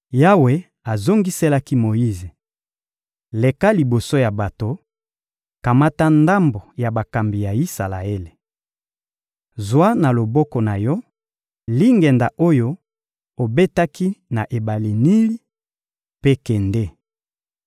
Yawe azongiselaki Moyize: — Leka liboso ya bato, kamata ndambo ya bakambi ya Isalaele. Zwa na loboko na yo, lingenda oyo obetaki na ebale Nili, mpe kende.